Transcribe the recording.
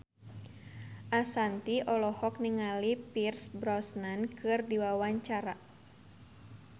Ashanti olohok ningali Pierce Brosnan keur diwawancara